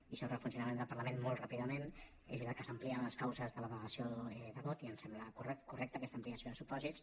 i sobre el funcionament del parlament molt ràpidament és veritat que s’amplien les causes de la delegació de vot i em sembla correcta aquesta ampliació de supòsits